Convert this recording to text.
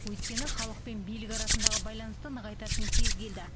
өйткені халық пен билік арасындағы байланысты нығайтатын кез келді